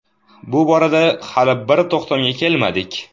Bu borada hali bir to‘xtamga kelmadik.